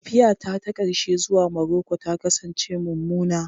Tafiyata ta ƙarshe zuwa Maroko ta kasance mummuna.